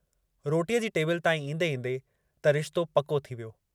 रोटीअ जी टेबिल ताईं ईंदे ईंदे त रिश्तो पको थी वियो।